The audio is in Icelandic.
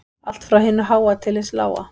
Allt frá hinu háa til hins lága